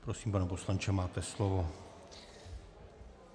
Prosím, pane poslanče, máte slovo.